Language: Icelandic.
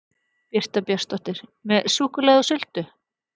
Birta Björnsdóttir: Með súkkulaði og sultu?